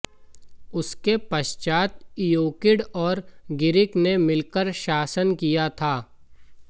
उसके पश्चात इयोकिड और गिरिक ने मिलकर शासन किया था